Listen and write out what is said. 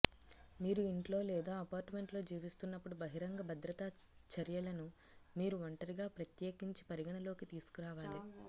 మీరు ఇంట్లో లేదా అపార్ట్మెంట్ లో జీవిస్తున్నప్పుడు బహిరంగ భద్రతా చర్యలను మీరు ఒంటరిగా ప్రత్యేకించి పరిగణలోకి తీసుకోవాలి